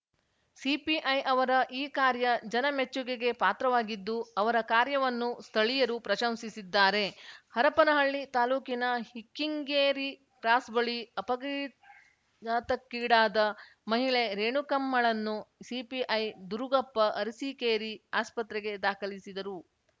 CPI ಅವರ ಈ ಕಾರ್ಯ ಜನ ಮೆಚ್ಚುಗೆಗೆ ಪಾತ್ರವಾಗಿದ್ದು ಅವರ ಕಾರ್ಯವನ್ನು ಸ್ಥಳೀಯರು ಪ್ರಶಂಸಿಸಿದ್ದಾರೆ ಹರಪನಹಳ್ಳಿ ತಾಲೂಕಿನ ಹ್ಕಿಕ್ಕಿಂಗೇರಿ ಕ್ರಾಸ್‌ ಬಳಿ ಅಪಘಾತಕ್ಕೀಡಾದ ಮಹಿಳೆ ರೇಣುಕಮ್ಮಳನ್ನು ಸಿಪಿಐ ದುರುಗಪ್ಪ ಅರಸಿಕೇರಿ ಆಸ್ಪತ್ರೆಗೆ ದಾಖಲಿಸಿದರು